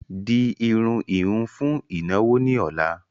Di irun ìhun fún ìnáwó ni ọ̀la!